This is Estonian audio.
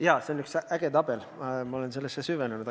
Jaa, see on üks äge tabel, ma olen sellesse süvenenud.